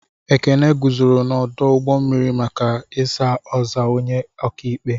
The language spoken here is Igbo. Ekene guzoro n'ọdụ ụgbọ mmiri maka ks ozaa onye ọkaikpe.